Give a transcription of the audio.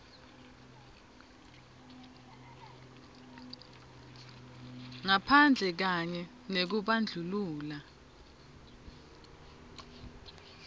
ngaphandle kanye nekubandlulula